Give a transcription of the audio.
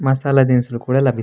మసాలా దినుసులు కూడా లభిస్తాయి --